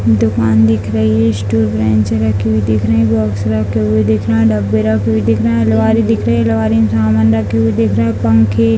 दुकान दिख रही है स्टूल बेंच रखी हुई दिख रहे है बॉक्स रखे हुए दिख रहे हैं डब्बे रखे हुए दिख रहे हैं लोहा भी दिख रहे हैं लोहा का सामान रखे हुए दिख रहे है पंखे --